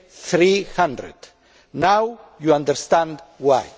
300. Now you understand why.